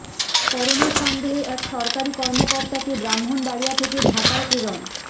corona সন্দেহে এক সরকারি কর্মকর্তাকে ব্রাহ্মণবাড়িয়া থেকে ঢাকায় প্রেরণ